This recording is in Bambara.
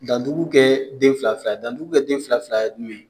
Dan ntugun kɛ den fila fila, dan ntuku kɛ den fila fila ye